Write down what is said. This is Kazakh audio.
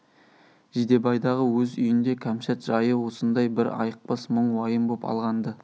жидебайдағы өз үйінде кәмшат жайы осындай бір айықпас мұң уайым боп алған-ды